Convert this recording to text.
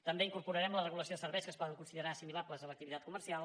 també incorporarem la regulació de serveis que es poden considerar assimilables a l’activitat comercial